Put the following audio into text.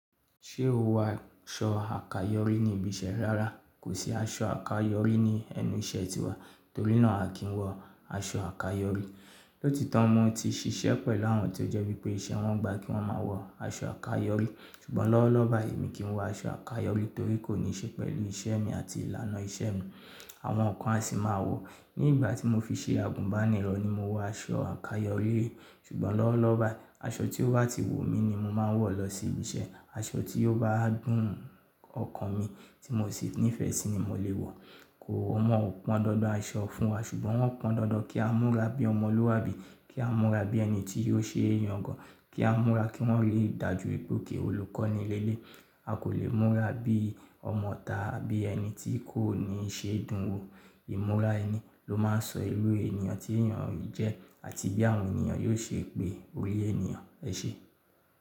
Ṣé o wọ aṣọ àkayọ̀rí ní ibi iṣẹ́ rárá, kò sí aṣọ àkayọ̀rí ní ẹnu iṣẹ́ ti wa, torí náà à kí n wọ aṣọ àkayọ̀rí. Lóti to, mo ti ṣiṣẹ́ pẹ̀lú àwọn tó jẹ́ wípé iṣẹ́ wọn gba kí wón máa wọ aṣọ àkayọ̀rí, ṣùgbọ́n lọ́wọ́lọ́wọ́ báyìí mi kì í wọ aṣọ àkayọ̀rí torí kò ní ṣe pẹ̀lú iṣẹ́ mi àti ìlànà iṣẹ́ mi. Àwọn kan a sì máa wọ, ní ìgbà tí mo fi ṣe àgùnbánirọ̀ ni mo wọ aṣọ àkayọ̀rí, ṣùgbọ́n lọ́wọ́lọ́wọ́ báyìí, aṣọ tí ó bá ti wù mí ni mo máa ń wọ̀ lọ sí ibi iṣẹ́, aṣọ tí ó bá dùn ọkàn mi tí mo sì nífẹ̀ẹ́ sí i ni mò lè wọ̀. Kò, wọ́n ò pọn dandan aṣọ fún wa, ṣùgbọ́n wọ́n pọn dandan kí á múra bí ọmọlúàbí, kí á múra bí ẹni tí yóò ṣe é yàn gan, kí á múra kí wọ́n ri dá ju pe ok olùkọ́ ni eleyi, a kò lè múra bí ọmọ ita abí ẹni tí kò ní ṣe dùn wo. Ìmúra ẹni ló máa ń sọ irú ènìyàn tí ènìyàn jẹ́ àti bí àwọn ènìyàn yóò ṣe pé orí ènìyàn. Ẹ ṣé.